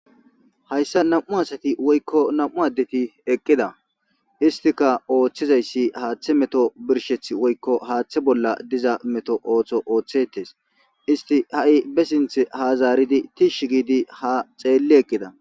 hayssa nam7u asati woykko nam7u addeti eqqida istika ooththizayssi haaththe meto birsheth woykko haaththe bolla diza meto ooththo ooththetes isti ha7i be sinth hazaaridi tiish giidi ha xeelli eqqida